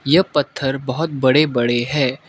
यह पत्थर बहोत बड़े बड़े है।